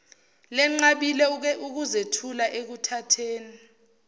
lenqabile ukuzethula ekuthatheni